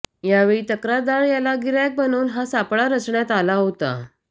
यावेळी तक्रारदार याला गिऱ्हाईक बनवून हा सापळा रचण्यात आला होता